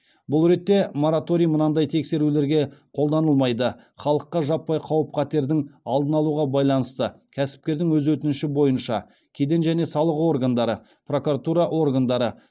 бұл ретте мораторий мынадай тексерулерге қолданылмайды халыққа жаппай қауіп қатердің алдын алуға байланысты кәсіпкердің өз өтініші бойынша кеден және салық органдары прокуратура органдары